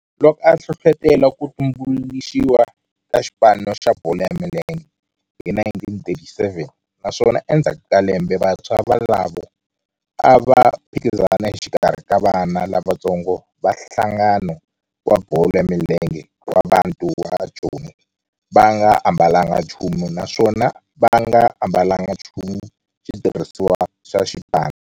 Loko a hlohlotela ku tumbuluxiwa ka xipano xa bolo ya milenge hi 1937 naswona endzhaku ka lembe vantshwa volavo a va phikizana exikarhi ka vana lavatsongo va nhlangano wa bolo ya milenge wa Bantu wa Joni va nga ambalanga nchumu naswona va nga ambalanga nchumu xitirhisiwa xa xipano.